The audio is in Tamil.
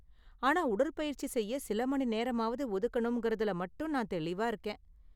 ஆனால் உடற்பயிற்சி செய்ய சில மணி நேரமாவது ஒதுக்கணும்கிறதுல மட்டும் நான் தெளிவா இருக்கேன்.